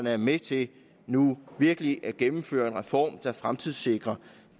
er med til nu virkelig at gennemføre en reform der fremtidssikrer